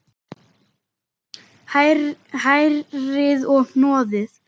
Hrærið og hnoðið.